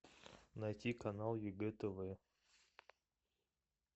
найти канал егэ тв